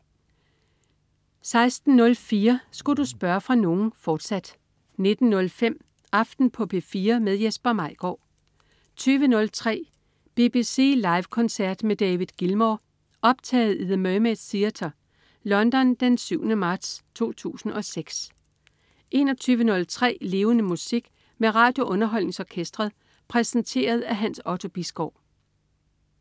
16.04 Relax. Sku' du spørge fra nogen?, fortsat 19.05 Aften på P4. Jesper Maigaard 20.03 BBC Live koncert med David Gilmour. Optaget i The Mermaid Theatre, London den 7. marts 2006 21.03 Levende Musik. Med RadioUnderholdningsOrkestret. Præsenteret af Hans Otto Bisgaard